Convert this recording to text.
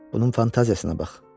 Bunun fantaziyasına bax.